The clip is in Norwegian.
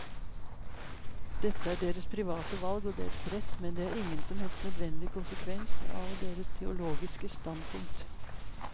Dette er deres private valg og deres rett, men det er ingen som helst nødvendig konsekvens av deres teologiske standpunkt.